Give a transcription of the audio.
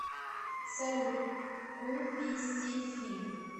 салют ку пи си фильм